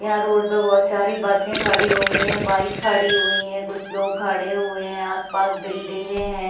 यहाँ रोड पर बहोत सारी बसे खड़ी हुई है बाइक खड़ी हुई है कुछ लोग खड़े हुए है आस-पास बिल्डिंगे है।